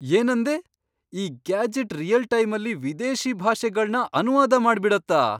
ಏನಂದೆ?! ಈ gadget real ಟೈಮಲ್ಲಿ ವಿದೇಶಿ ಭಾಷೆಗಳ್ನ ಅನುವಾದ ಮಾಡ್ಬಿಡತ್ತಾ?!